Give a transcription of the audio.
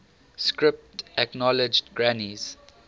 script acknowledged granny's